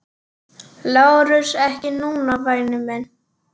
LÁRUS: Ekki núna, væni minn.